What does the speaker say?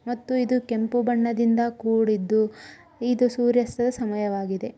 ಇದು ಕೆಂಪು ಬಣ್ಣದಿಂದ ಕೂಡಿದ್ದು ಇದು ಸೂರ್ಯಾಸ್ತ ಸಮಯವಾಗಿದ.